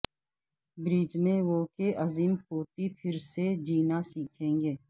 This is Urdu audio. بریجنےو کے عظیم پوتی پھر سے جینا سیکھیں گے